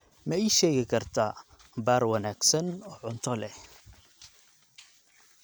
ma ii sheegi kartaa baar wanaagsan oo cunto leh